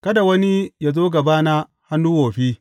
Kada wani yă zo gabana hannu wofi.